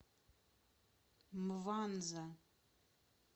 мванза